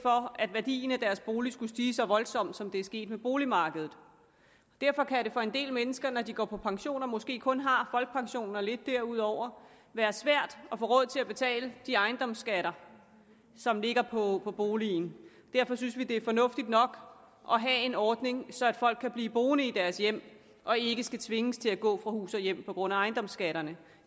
for at værdien af deres bolig skulle stige så voldsomt som det er sket med boligmarkedet derfor kan det for en del mennesker når de går på pension og måske kun har folkepensionen og lidt derudover være svært at få råd til at betale de ejendomsskatter som ligger på på boligen derfor synes vi det er fornuftigt nok at have en ordning så folk kan blive boende i deres hjem og ikke skal tvinges til at gå fra hus og hjem på grund af ejendomsskatterne